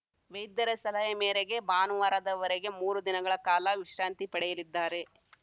ವೈದ್ಯರ ಸಲಹೆ ಮೇರೆಗೆ ಭಾನುವಾರದವರೆಗೆ ಮೂರು ದಿನಗಳ ಕಾಲ ವಿಶ್ರಾಂತಿ ಪಡೆಯಲಿದ್ದಾರೆ